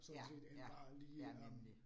ja, ja, ja nemlig